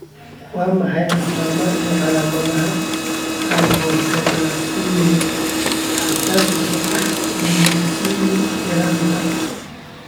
Waa maxay astamaha iyo calaamadaha hypoglycemia xasaasiga ah ee Leucine ee yaraanta?